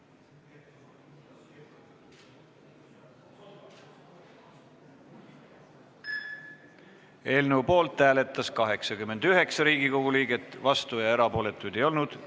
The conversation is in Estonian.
Hääletustulemused Eelnõu poolt hääletas 89 Riigikogu liiget, vastuolijaid ega erapooletuid ei olnud.